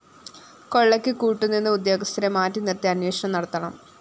കൊള്ളയ്ക്ക് കൂട്ടു നിന്ന ഉദ്യോഗസ്ഥരെ മാറ്റി നിര്‍ത്തി അന്വേഷണം നടത്തണം